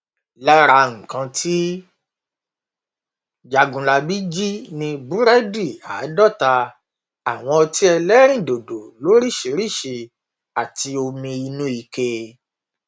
lára nǹkan tí jágunlábí jì ni búrẹdì àádọta àwọn ọtí ẹlẹrìndòdò lóríṣìíríṣìí àti omi inú ike